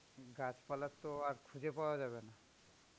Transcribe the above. গাছপালা তো আর খুঁজে পাওয়া যাবে না.